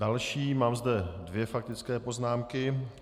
Další zde mám dvě faktické poznámky.